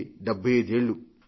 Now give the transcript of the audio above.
కి 75 ఏళ్లు